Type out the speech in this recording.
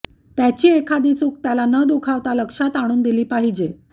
त्याची एखादी चूक त्याला न दुखावता लक्षात आणून दिली पाहिजे